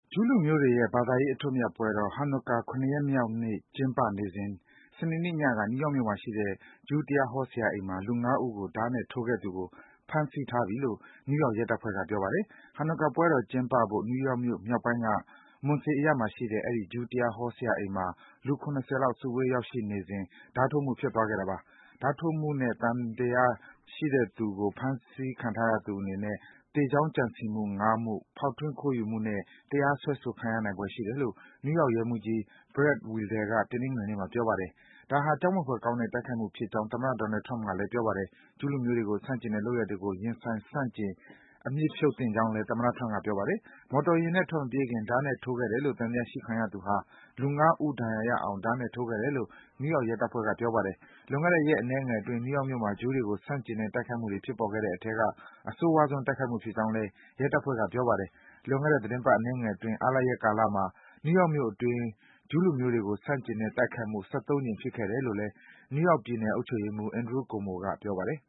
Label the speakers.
Speaker 1: ဂျူးလူမျိုးတွေရဲ့ ဘာသာရေး အထွတ်အမြတ်ပွဲတော် Hanukkah ၇ ရက်မြောက်နေ့ ကျင်းပနေစဉ် စနေနေ့ညက နယူးယောက်မြို့မှာရှိတဲ့ ဂျူးတရားဟောဆရာအိမ်မှာ လူငါးဦးကို ဓားနဲ့ထိုးခဲ့သူကို ဖမ်းဆီးထားပြီလို့ နယူးယောက် ရဲတပ်ဖွဲ့က ပြောပါတယ်။ Hanukkah ပွဲတော် ကျင်းပဖို့ နယူးယောက်မြို့မြောက်ပိုင်းက Monsey အရပ်မှာရှိတဲ့ အဲဒီ ဂျူးတရားဟောဆရာအိမ်မှာ လူ ၇၀ လောက် စုဝေး ရောက်ရှိနေစဉ် ဓားထိုးမှု ဖြစ်သွားခဲ့တာပါ။ ဓားထိုးမှု သံသယနဲ့ ဖမ်းဆီးခံထားရသူ အနေနဲ့ လူသတ်ရန်အားထုတ်မှု ၅ မှု၊ ဖောက်ထွင်းခိုးယူမှုတို့နဲ့ တရားစွဲဆိုခံရနိုင်တယ်လို့ နယူးယောက် ရဲမှူးကြီး Brad Weidel က တနင်္ဂနွေနေ့မှာ ပြောပါတယ်။ ဒါဟာ ကြောက်မက်ဖွယ်ကောင်းတဲ့ တိုက်ခိုက်မှုဖြစ်ကြောင်း သမ္မတ Donald Trump က ပြောပါတယ်။ ဂျူးလူမျိုးတွေကို ဆန့်ကျင်တဲ့ လုပ်ရပ်တွေကို ရင်ဆိုင် ဆန့်ကျင် အမြစ်ဖြုတ်ပစ်သင့်ကြောင်းလည်း သမ္မတ Trump က ပြောပါတယ်။ မော်တော်ယာဉ်နဲ့ ထွက်မပြေးခင် ဓားနဲ့ထိုးခဲ့တယ်လို့ သံသယရှိခံရသူဟာ လူ ၅ ဦး ဒဏ်ရာရအောင် ဓားနဲ့ထိုးခဲ့တယ်လို့ နယူးယောက် ရဲတပ်ဖွဲ့က ပြောပါတယ်။ လွန်ခဲ့တဲ့ ရက်အနည်းငယ်အတွင်း နယူးယောက်မြို့မှာ ဂျူးတွေကို ဆန့်ကျင်တဲ့ တိုက်ခိုက်မှုတွေ ဖြစ်ပေါ်ခဲ့တဲ့အထဲက အဆိုးရွားဆုံး တိုက်ခိုက်မှုဖြစ်ကြောင်း နယူးယောက် ရဲတပ်ဖွဲ့က ပြောပါတယ်။ လွန်ခဲ့တဲ့ သီတင်းပတ်အနည်းငယ်အတွင်း အားလပ်ရက်ကာလမှာ နယူးယောက်မြို့အတွင်း ဂျူးလူမျိုးတွေကို ဆန့်ကျင်တဲ့ တိုက်ခိုက်မှု ၁၃ ကြိမ် ဖြစ်ခဲ့တယ်လို့ နယူးယောက်ပြည်နယ် အုပ်ချုပ်ရေးမှူး Andrew Cuomo က ပြောပါတယ်